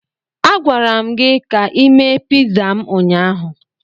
A gwara m gị ka ị mee piza m ụnyaahụ.